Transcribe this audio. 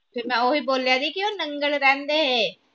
ਫਿਰ ਮੈ ਓਹੀ ਬੋਲਿਆ ਸੀ ਕੇ ਉਹ ਨੰਗਲ ਰਹਿੰਦੇ